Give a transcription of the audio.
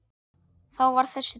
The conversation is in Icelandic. Þá varð þessi til.